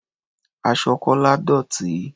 Aṣọ Kọ́lá dọ̀tí.